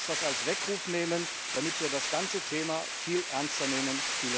Lasst uns das als Weckruf nehmen, damit wir das ganze Thema viel ernster nehmen.